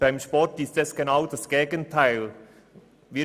Beim Sport ist genau das Gegenteil der Fall.